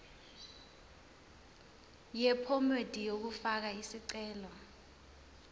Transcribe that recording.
yephomedi yokufaka isicelo